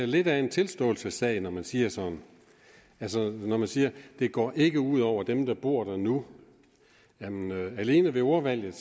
lidt af en tilståelsessag når man siger sådan altså man siger det går ikke ud over dem der bor der nu alene ordvalget